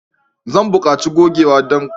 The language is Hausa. Zan buƙaci gogewa don goge kuskurena.